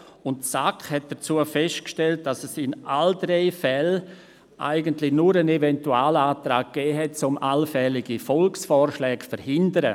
Die SAK hat hierzu festgestellt, dass es in allen drei Fällen eigentlich nur einen Eventualantrag gegeben hat, um allfällige Volksvorschläge zu verhindern.